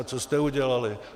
A co jste udělali?